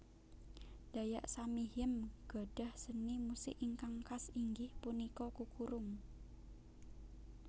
Dayak Samihim gadhah seni musik ingkang khas inggih punika kukurung